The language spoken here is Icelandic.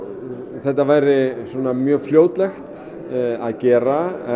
þetta væri mjög fljótlegt að gera